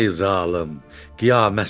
Ay zalım, qiyamətsən ki!